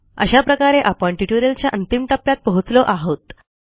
अशा प्रकारे आपण ट्युटोरियलच्या अंतिम टप्प्यात पोहोचलो आहोत